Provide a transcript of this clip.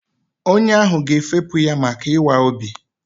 Onye ahụ ga-efepụ ya maka ịwa obi.